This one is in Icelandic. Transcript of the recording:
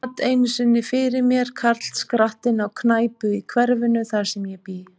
Hann sat einu sinni fyrir mér, karlskrattinn, á knæpu í hverfinu, þar sem ég bý.